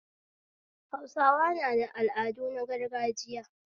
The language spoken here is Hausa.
Hausawa na da al'adu na gargajiya